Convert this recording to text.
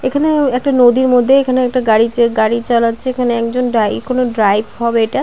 এখানে ঐ একটা নদীর মধ্যে এখানে একটা গাড়ি চে গাড়ি চালাচ্ছে এখানে একজন ডাই কোনো ড্রাইভ হবে এটা ।